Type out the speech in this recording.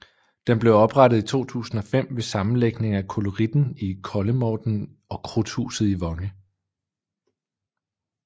Den blev oprettet i 2005 ved sammenlægning af Koloritten i Kollemorten og Krudthuset i Vonge